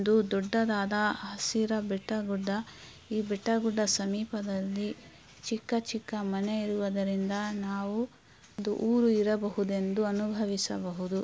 ಇದು ದೊಡ್ಡದಾದ ಹಸಿರ ಬೆಟ್ಟಗುಡ್ಡ ಈ ಬೆಟ್ಟಗುಡ್ಡ ಸಮೀಪದಲ್ಲಿ ಚಿಕ್ಕ ಚಿಕ್ಕ ಮನೆ ಇರುವುದರಿಂದ ನಾವು ಒಂದು ಊರು ಇರಬಹುದು ಎಂದು ಅನುಭವಿಸಬಹುದು.